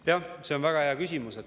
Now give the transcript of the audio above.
Jah, see on väga hea küsimus.